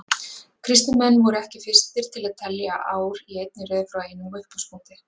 Kristnir menn voru ekki fyrstir til að telja ár í einni röð frá einum upphafspunkti.